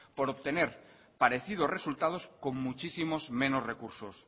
por obtener parecidos resultados con muchísimos menos recursos